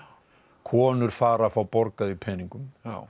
konur fara að fá borgað í peningum